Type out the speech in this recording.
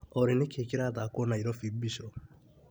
Olĩ nĩkĩĩ kĩrathakwo Naĩrobĩ Mbiso?